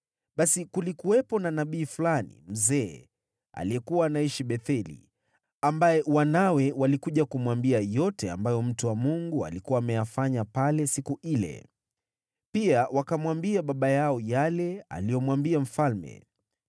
Basi kulikuwepo na nabii fulani mzee aliyekuwa anaishi Betheli, ambaye wanawe walikuja kumwambia yote ambayo mtu wa Mungu alikuwa ameyafanya pale siku ile. Pia wakamwambia baba yao yale aliyomwambia mfalme.